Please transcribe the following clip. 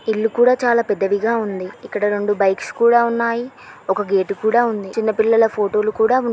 ఇల్లు కూడా చాలా పెద్దదిగా ఉంది. ఇక్కడ రెండు బైక్స్ కూడా ఉన్నాయి. ఒక గేటు కూడా ఉంది. చిన్న పిల్లల ఫోటోలు కూడా ఉన్న--